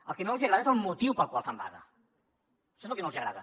el que no els agrada és el motiu pel qual fan vaga això és el que no els agrada